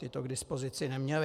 Ti to k dispozici neměli.